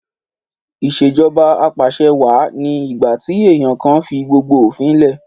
Ìṣèjọba Apàṣẹwà ni ìgbà tí èèyàn kan fi gbogbo òfin lẹ̀